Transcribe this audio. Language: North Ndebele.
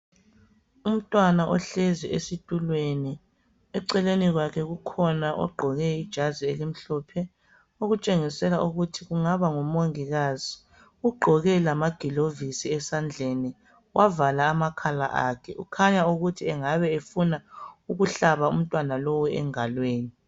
Umntwana ohlezi esitulweni ,eceleni kwakhe kukhona ogqoke ijazi elimhlophe okutshengisela ukuthi angaba ngumongikazi ,ugqoke lamagilovisi esandleni wavala lamakhala akhe, kukhanya ukuthi engabe efuna ukuhlaba umntwana lowu engalweni.